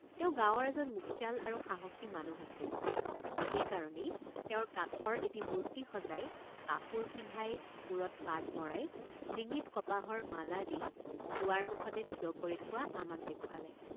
তেওঁ গাঁৱৰ এজন মুখিয়াল আৰু সাহসী মানুহ আছিল সেই কাৰণেই তেওঁৰ কাঠৰ এটি মূৰ্তি সজাই কাপোৰ পিন্ধাই মূৰত পাগ মৰাইডিঙিত কপাহৰ মালা দি দুৱাৰ মুখতে থিয় কৰি থোৱা আমাক দেখুৱালে।